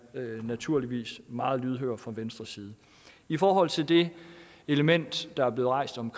naturligvis meget lydhøre fra venstres side i forhold til det element der er blevet rejst om